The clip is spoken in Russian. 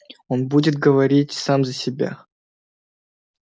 он будет говорить сам за себя